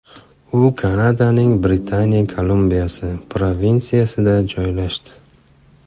U Kanadaning Britaniya Kolumbiyasi provinsiyasida joylashdi.